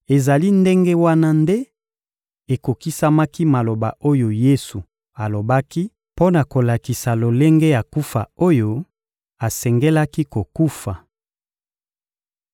Ezali ndenge wana nde ekokisamaki maloba oyo Yesu alobaki mpo na kolakisa lolenge ya kufa oyo asengelaki kokufa.